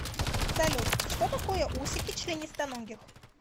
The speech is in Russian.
салют что такое усики членистоногих